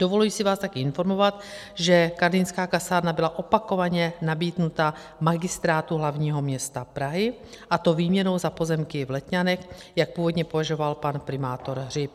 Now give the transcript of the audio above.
Dovoluji si vás také informovat, že karlínská kasárna byla opakovaně nabídnuta Magistrátu hlavního města Prahy, a to výměnou za pozemky v Letňanech, jak původně uvažoval pan primátor Hřib.